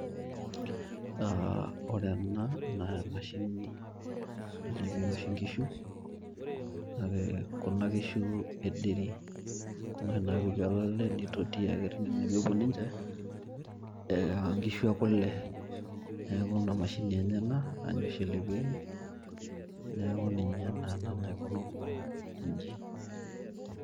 AAA ore ena naa emashini nalepieki oshi inkishu kake Kuna kishu e dairy Kuna oshi napiki olale nitoti ake tine nepuo ninche ee nkishu ekule. Neku Ina mashini enye ena naa ninye oshi elepieki .neaku ninye naa